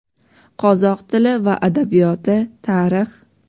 Qozoq tili va adabiyot, Tarix.